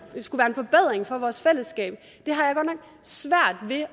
af vores fællesskab